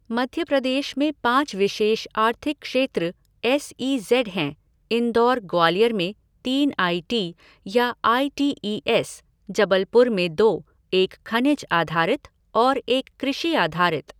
मध्य प्रदेश में पाँच विशेष आर्थिक क्षेत्र, एस ई जेड हैं इंदौर, ग्वालियर में तीन आई टी या आई टी ईएस , जबलपुर में दो, एक खनिज आधारित और एक कृषि आधारित।